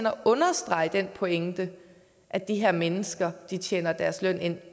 at understrege den pointe at de her mennesker tjener deres løn ind